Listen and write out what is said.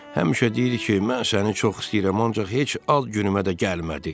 Həmişə deyir ki, mən səni çox istəyirəm, ancaq heç ad günümə də gəlmədi.